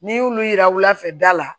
N'i y'olu yira wulafɛ da la